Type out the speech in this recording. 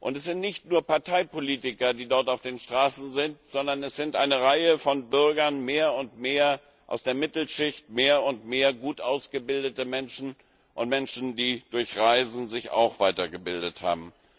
Es sind nicht nur Parteipolitiker, die dort auf den Straßen sind, sondern es sind eine Reihe von Bürgern mehr und mehr aus der Mittelschicht, mehr und mehr gut ausgebildete Menschen, und Menschen, die sich durch Reisen weitergebildet haben.